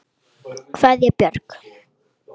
Aðrir eru með minna.